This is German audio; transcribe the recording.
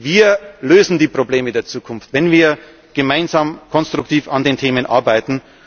das. Wir lösen die Probleme der Zukunft, wenn wir gemeinsam konstruktiv an den Themen arbeiten.